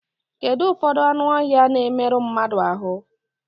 Kedụ ụfọdụ anụ ọhịa na-emerụ mmadụ ahụ?